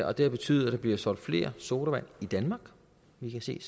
og det har betydet at der bliver solgt flere sodavand i danmark vi kan se